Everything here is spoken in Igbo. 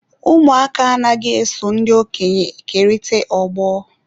Ụmụaka anaghị eso ndị okenye kerịta ogbo.